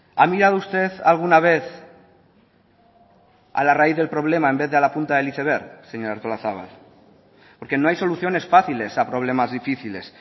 a mirado usted alguna vez a la raíz del problema en vez de a la punta del iceberg señora artolazabal porque no hay soluciones fáciles a problemas difíciles